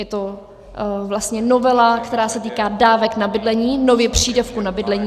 Je to vlastně novela, která se týká dávek na bydlení, nově přídavku na bydlení.